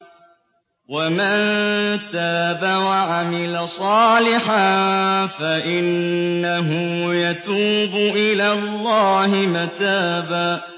وَمَن تَابَ وَعَمِلَ صَالِحًا فَإِنَّهُ يَتُوبُ إِلَى اللَّهِ مَتَابًا